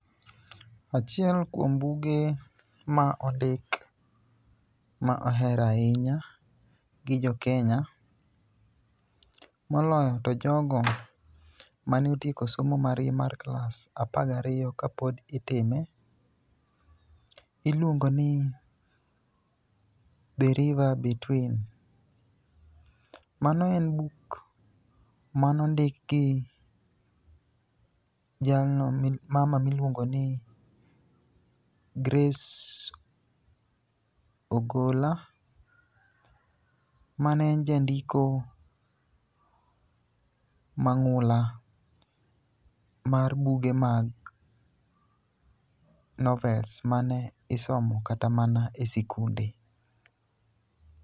achiel kuom buge ma ondik ma oher ahinya gi jokenya moloyo to jogo mano tieko somo margi mar klas apaga riyo kapod itime, iluongoni The river between. Mano en buk manondik gi mama miluongo ni Grace Ogolla, mane en jandiko mang'ula, mar buge mag novels mane isomo kata mana e sikune.